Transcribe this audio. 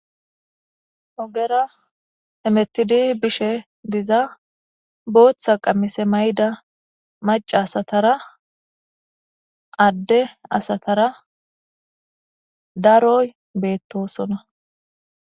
Ogera emettidi bishe diza booththa qammise mayda maca asatara adde asatara daroy beettosona.